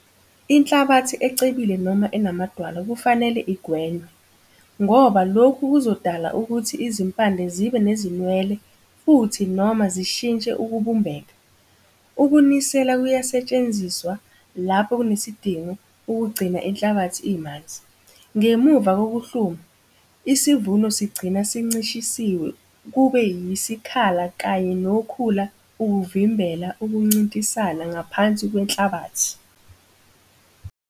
Inhlabathi ecebile noma enamadwala kufanele igwenywe, ngoba lokhu kuzodala ukuthi izimpande zibe nezinwele futhi noma zishintshe ukubumbeka. Ukunisela kuyasetshenziswa lapho kunesidingo ukugcina inhlabathi imanzi. Ngemuva kokuhluma, isivuno sigcina sincishisiwe kube yisikhala kanye nokhula ukuvimbela ukuncintisana ngaphansi kwenhlabathi.